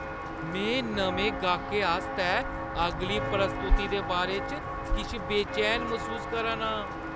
में नमें गाह्कै आस्तै अगली प्रस्तुति दे बारे च किश बेचैन मसूस करा ना आं।